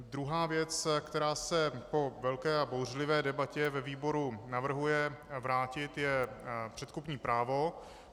Druhá věc, která se po velké a bouřlivé debatě ve výboru navrhuje vrátit, je předkupní právo.